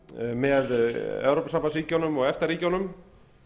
með evrópusambandsríkjunum og efta ríkjunum